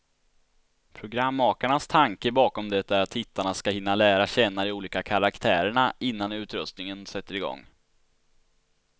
Programmakarnas tanke bakom det är att tittarna ska hinna lära känna de olika karaktärerna, innan utröstningen sätter igång.